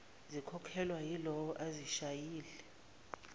zikhokhelwa yilowo ozishayile